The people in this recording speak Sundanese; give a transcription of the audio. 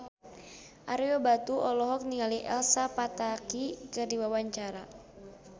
Ario Batu olohok ningali Elsa Pataky keur diwawancara